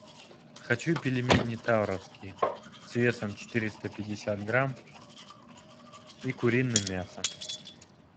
хочу пельмени тавровские с весом четыреста пятьдесят грамм и куриным мясом